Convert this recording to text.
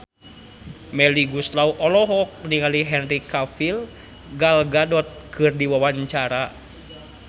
Melly Goeslaw olohok ningali Henry Cavill Gal Gadot keur diwawancara